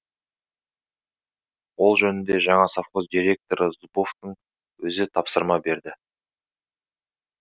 ол жөнінде жаңа совхоз директоры зубовтың өзі тапсырма берді